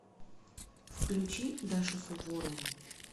включи дашу суворову